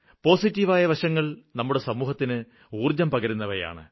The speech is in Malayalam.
പോസിറ്റീവായ വശങ്ങള് നമ്മുടെ സമൂഹത്തിന് ഊര്ജ്ജം പകരുന്നവയാണ്